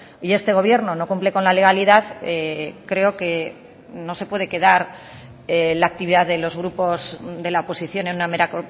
y este gobierno no cumple con la legalidad creo que no se puede quedar la actividad de los grupos de la oposición en una mera